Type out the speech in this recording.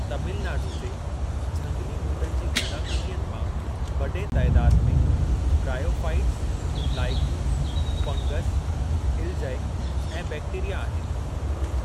तमिलनाडू जे झंगली ॿूटनि जी गूनागूनियत मां वॾे तइदादु में बराईओफ़ाइटस, लाइक़ुं, फंगस, इल्जय ऐं बैक्टेरिया आहिनि।